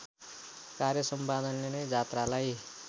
कार्यसम्पादनले नै जात्रालाई